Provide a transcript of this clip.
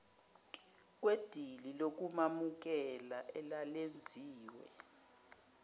kwedili lokumamukela elalenziwe